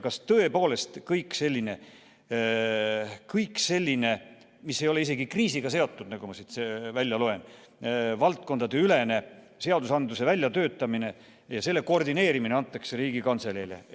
Kas tõepoolest kõik selline, mis ei ole isegi kriisiga seotud, nagu ma siit seletuskirjast välja loen, valdkondadeülene seadusandluse väljatöötamine ja selle koordineerimine antakse Riigikantseleile?